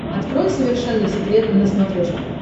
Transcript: открой совершенно секретно на смотрешке